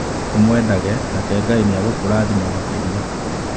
Ũmwendage, nake Ngai nĩ egũkũrathima makĩria.